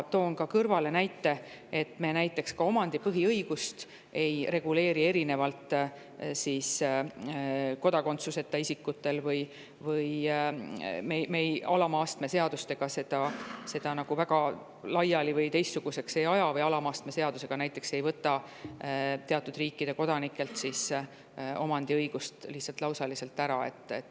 Toon siia kõrvale näite, et me näiteks ka omandipõhiõigust ei reguleeri kodakondsuseta isikute puhul erinevalt ega aja seda alama astme seadusega nagu väga laiali või teistsuguseks või ei võta alama astme seadusega näiteks teatud riikide kodanikelt omandiõigust lihtsalt lausaliselt ära.